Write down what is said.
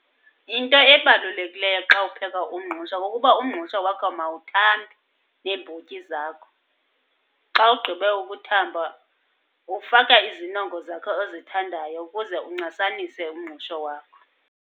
Into ebalulekileyo xa upheka umngqusho kukuba umngqusho wakho mawuthambe neembotyi zakho. Xa ugqibe ukuthamba uwufaka izinongo zakho ozithandayo ukuze uncasanise umngqusho wakho.